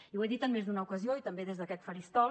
i ho he dit en més d’una ocasió i també des d’aquest faristol